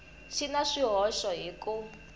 xi na swihoxo hi ku